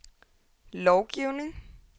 lovgivning